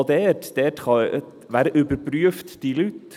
Und auch dort: Wer überprüft diese Leute?